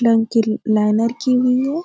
रंग की ला-लाइनर की हुई है।